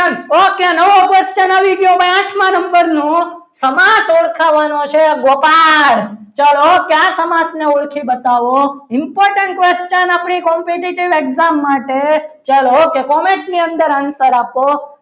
number નો સમાસ ઓળખાવવાનો છે ગોપાલ ચલો આ સમાજને ઓળખી બતાવો important question આપણી competitive exam માટે ચાલો કે comment ની અંદર answer આપો.